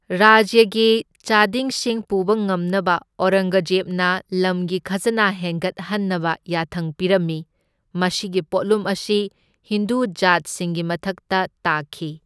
ꯔꯥꯖ꯭ꯌꯒꯤ ꯆꯥꯗꯤꯡꯁꯤꯡ ꯄꯨꯨꯕ ꯉꯝꯅꯕ ꯑꯧꯔꯪꯒꯖꯦꯕꯅ ꯂꯝꯒꯤ ꯈꯖꯅꯥ ꯍꯦꯟꯒꯠꯍꯟꯅꯕ ꯌꯥꯊꯪ ꯄꯤꯔꯝꯃꯤ꯫ ꯃꯁꯤꯒꯤ ꯄꯣꯠꯂꯨꯝ ꯑꯁꯤ ꯍꯤꯟꯗꯨ ꯖꯥꯠꯁꯤꯡꯒꯤ ꯃꯊꯛꯇ ꯇꯥꯈꯤ꯫